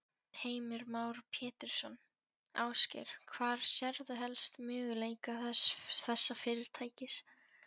Heimir Már Pétursson: Ásgeir, hvar sérðu helst möguleika þessa fyrirtækis?